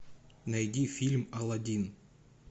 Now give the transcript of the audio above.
найди фильм аладдин